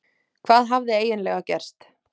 Hvað hafði eiginlega gerst?